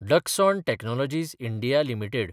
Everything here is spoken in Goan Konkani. Dixon technologies (India) limited